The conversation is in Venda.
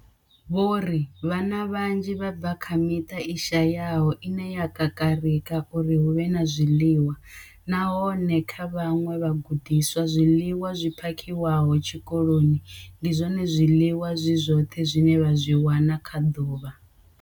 Vho ri vhana vhanzhi vha bva kha miṱa i shayaho ine ya kakarika uri hu vhe na zwiḽiwa, nahone kha vhaṅwe vhagudiswa, zwiḽiwa zwi phakhiwaho tshikoloni ndi zwone zwiḽiwa zwi zwoṱhe zwine vha zwi wana kha ḓuvha.